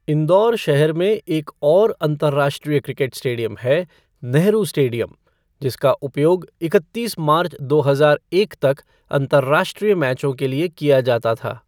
इंदौर शहर में एक और अंतर्राष्ट्रीय क्रिकेट स्टेडियम है, "नेहरू स्टेडियम", जिसका उपयोग इकत्तीस मार्च दो हजार एक तक अंतर्राष्ट्रीय मैचों के लिए किया जाता था।